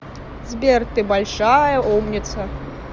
сбер ты большая умница